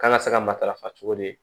Kan ka se ka matarafa cogo di